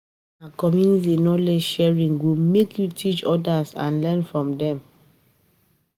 Na community knowledge sharing go make you teach odas and learn from dem.